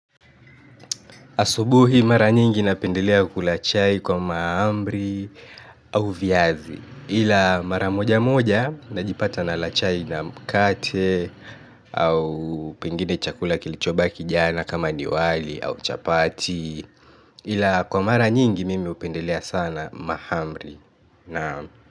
Asubuhi mara nyingi napendelea kula chai kwa mahamri au viazi ila mara moja moja najipata nala chai na mkate au pengine chakula kilichobaki jana kama ni wali au chapati ila kwa mara nyingi mimi hupendelea sana mahamri naam.